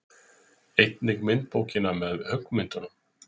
Einnig myndabókina með höggmyndunum.